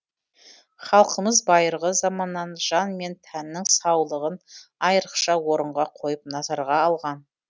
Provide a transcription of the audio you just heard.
халқымыз байырғы заманнан жан мен тәннің саулығын айырықша орынға қойып назарға алған